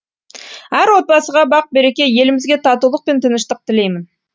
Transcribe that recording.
әр отбасыға бақ береке елімізге татулық пен тыныштық тілеймін